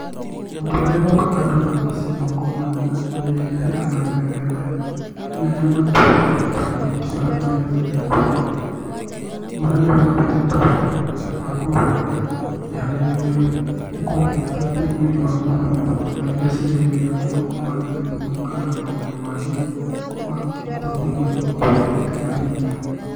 Maũndũ marĩa mokaga ndona mbica ĩno ngona nĩ, hena mĩthemba ĩno ya matunda ĩtukanĩtio hamwe hĩndĩ ĩrĩa ĩkũrĩo. Ũyũ ona nĩ wĩra ũrutĩtwo wega, ĩgabangwo wega iharĩrĩirie gũkorwo ĩgĩteithia mwĩrĩ wa mũndũ na vitameni iria irigagĩrĩria mũndũ kuumana na mĩrimũ kana maũndũ mangĩ ma gũteithia mwĩrĩ ũkorwo wũikarĩte na hinya.